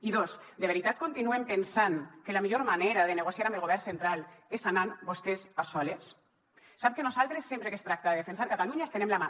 i dos de veritat continuen pensant que la millor manera de negociar amb el govern central és anant vostès a soles sap que nosaltres sempre que es tracta de defensar catalunya estenem la mà